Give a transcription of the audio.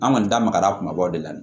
An kɔni da magara kumabaw de la